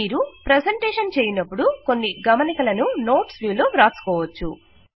మీరు ప్రెజెంటేషన్ చేయునపుడు కొన్ని గమనికలను నోట్స్ వ్యూ లో వ్రాసుకోవచ్చు